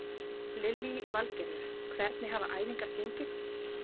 Lillý Valgerður: Hvernig hafa æfingar gengið?